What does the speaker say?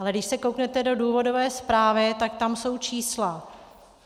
Ale když se kouknete do důvodové zprávy, tak tam jsou čísla.